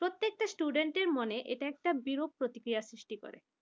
প্রত্যেকটা student র মনে এটা একটা বিরূপ প্রতিক্রিয়া সৃষ্টি করে।